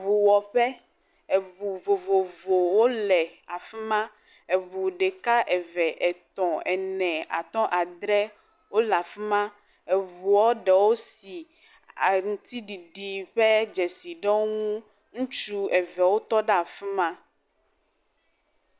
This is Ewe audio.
Ŋuwɔƒe, eŋu vovovowo le afi ma, eŋu ɖeka, eve, etɔ̃, ene, atɔ̃, adre, wole afi ma, eŋuɔ ɖewo si a.. ŋtiɖiɖi ƒe dzesi ɖe woŋu, ŋutsu eve wotɔ ɖe afi ma.